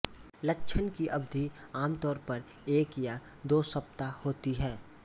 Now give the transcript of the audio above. लक्षण कि अवधि आम तौर पर एक या दो सप्ताह होती है